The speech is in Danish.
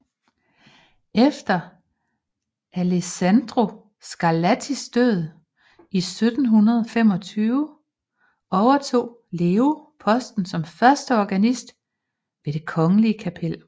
Efter Alessandro Scarlattis død i 1725 overtog Leo posten som førsteorganist ved det kongelige kapel